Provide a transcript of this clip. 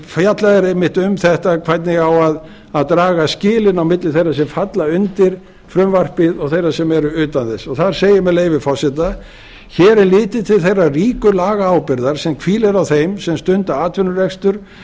fjallað er einmitt um þetta hvernig á að draga skilin á milli þeirra sem falla undir frumvarpið og þeirra sem eru utan þess þar segir með leyfi forseta hér er litið til þeirrar ríku lagaábyrgðar sem hvílir á þeim sem stunda atvinnurekstur